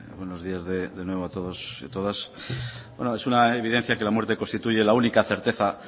buenos días de nuevo a todos y a todas bueno es una evidencia que la muerte constituye la única certeza